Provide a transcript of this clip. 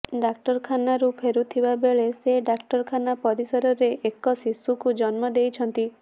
ଡାକ୍ତରଖାନାରୁ ଫେରୁଥିବା ବେଳେ ସେ ଡାକ୍ତରଖାନା ପରିସରରେ ରେ ଏକ ଶିଶୁକୁ ଜନ୍ମ ଦେଇଛନ୍ତି